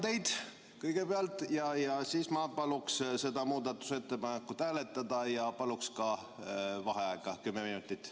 Tänan teid kõigepealt ja siis ma paluksin seda muudatusettepanekut hääletada ja paluksin ka vaheaega kümme minutit.